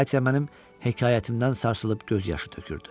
Xatya mənim hekayətimdən sarsılıb göz yaşı tökürdü.